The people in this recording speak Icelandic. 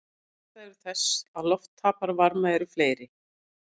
Ástæður þess að loft tapar varma eru fleiri.